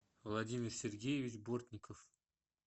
владимир сергеевич бортников